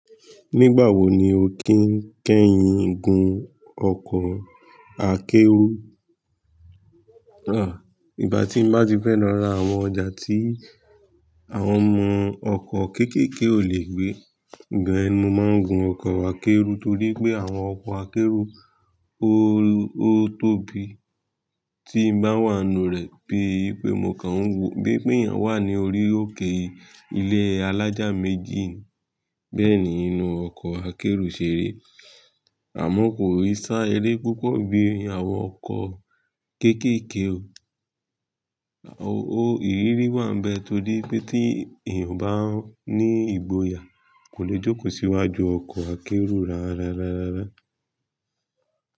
Nígbà wo ni o kí ń kẹ́yin gun ọkọ̀ akẹ́rù? Ìgbà tí m bá ti fẹ́ lo ra àwọn ọjà tí àwọn ọmọ ọkọ̀ kékèké ò le gbé, igba yen ni mo máa ń gun ọkọ̀ akẹ́rù torí pé àwọn ọkọ̀ akẹ́rù o ó tóbi. Tí m bá wà nù rẹ̀, bíi pé mo kàn ń wò bíi pé ìyàn wà ní orí òkè ilé alájà méjì, bẹ́ẹ̀ ni inú ọkọ̀ akẹ́rù ṣe ri. Àmọ́ kò í sá eré púpọ̀ bí i àwọn ọkọ̀ kékèké o. O ìrírí wà nbẹ̀ torí pé tí èèyàn bá ní ìgboyà, kò lè jókòó síwájú ọkọ̀ akẹ́rù rárárárárá.